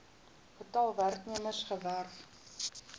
getal werknemers gewerf